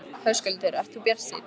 Höskuldur: Ert þú bjartsýn?